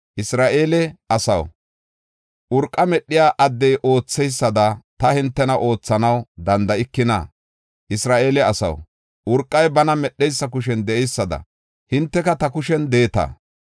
“Isra7eele asaw, urqa medhiya addey ootheysada ta hintena oothanaw danda7ikina? Isra7eele asaw, urqay bana medheysa kushen de7eysada, hinteka ta kushen de7eeta.